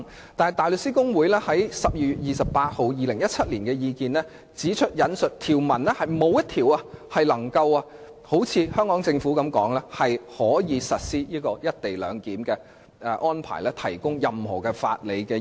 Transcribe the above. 然而，大律師公會在2017年12月28日發表的意見中指出，沒有一項條文能夠如香港政府所說，為實施"一地兩檢"的安排提供法理基礎。